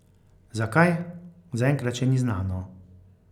Zakaj, zaenkrat še ni znano.